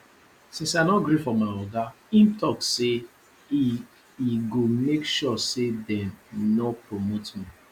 since i no gree for my oga im talk say e e go make sure say dem no promote me